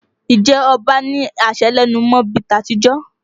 Ǹjẹ́ ọba ní àṣẹ lẹ́nu mọ́ bí i ti àtijọ́?